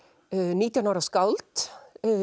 nítján ára skáld